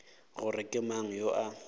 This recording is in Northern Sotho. gore ke mang yo a